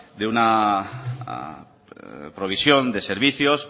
de una provisión de servicios